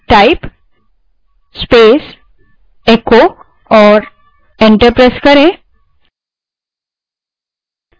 type space echo और enter दबायें